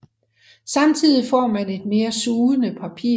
Samtidig får man et mere sugende papir